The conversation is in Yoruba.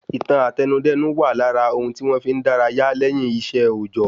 Ìtàn Àtẹnudẹ́nu wà lára ohun tí wọn fí n dárayá lẹ́yìn iṣẹ́ òòjọ́